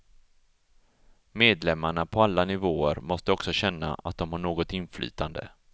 Medlemmarna på alla nivåer måste också känna att de har något inflytande.